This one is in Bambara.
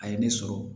A ye ne sɔrɔ